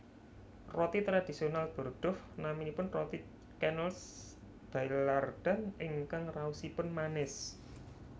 Roti tradisional Bordeaux naminipun roti Canneles Baillardan ingkang raosipun manis